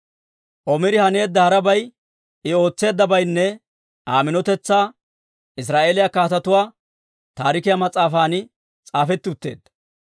Omiri haneedda harabay, I ootseeddabaynne Aa minotetsaa Israa'eeliyaa Kaatetuu Taarikiyaa mas'aafan s'aafetti utteedda.